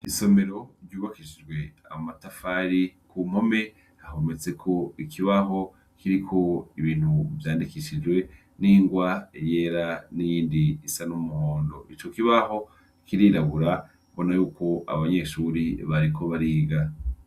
Isomero ryubakishijwe amatafari ku mpome hahometse ko ikibaho kiriko ibintu vyandikishijwe n'ingwa riyera n'indi isa n'umuhondo ico kibaho kirirabura bona yuko abanyeshuri bariko bariga.